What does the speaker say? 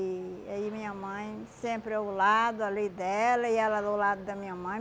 E aí minha mãe sempre ao lado, ali dela, e ela do lado da minha mãe.